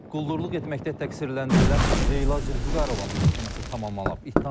Quldurluq etməkdə təqsirləndirilən Leyla Zülfüqarovanın məhkəməsi tamamlanıb.